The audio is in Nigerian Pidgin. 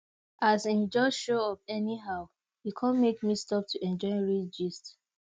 as him just show up anyhow e come make me stop to enjoy real gist